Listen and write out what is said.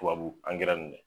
Tubabu nin dɛ